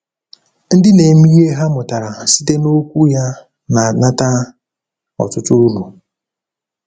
Ndị na-eme ihe ha mụtara site n’Okwu Ya na-anata ọtụtụ uru.